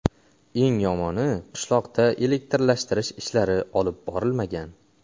Eng yomoni qishloqda elektrlashtirish ishlari olib borilmagan.